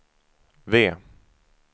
V